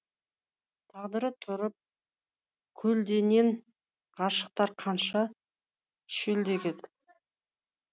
тағдыры тұрып көлденең ғашықтар қанша шөлдеген